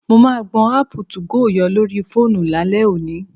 Mo máa gbọn áàpù 2go yọ lórí fóònù lálẹ́ òní